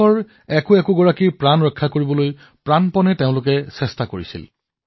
দেশৰ এজন এজন নাগৰিকৰ জীৱন ৰক্ষা কৰিবলৈ সংগ্ৰাম কৰিছিল